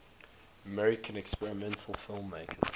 american experimental filmmakers